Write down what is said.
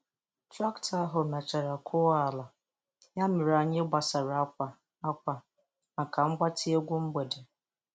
Traktọ ahụ mechara kwọọ ala, ya mere anyị gbasara akwa akwa maka mgbatị egwu mgbede.